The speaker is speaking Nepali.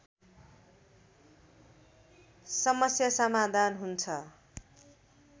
समस्या समाधान हुन्छ